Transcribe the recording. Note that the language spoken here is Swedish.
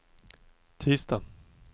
tisdag